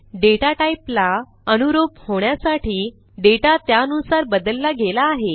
data टाईपला अनुरूप होण्यासाठी डेटा त्यानुसार बदलला गेला आहे